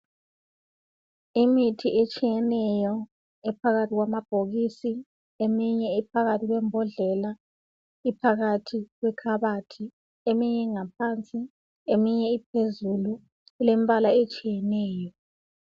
Imithi etshiyeneyo ephakathi kwamabhokisi, eminye iphakathi kwembodlela ingaphakathi kwekhabothi, eminye iphansi,, eminye iphezulu ilembala etshiyeneyo.